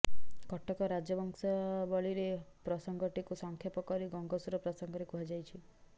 କଟକ ରାଜବଂଶାବଳୀରେ ପ୍ରସଂଗଟିକୁ ସଂକ୍ଷେପ କରି ଗଙ୍ଗସୂର ପ୍ରସଂଗରେ କୁହାଯାଇଛି